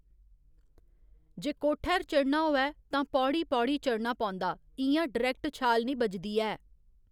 जे कोठै'र चढ़ना होऐ तां पौड़ी पौड़ी चढ़ना पौंदा इं'या डरैक्ट छाल निं बजदी ऐ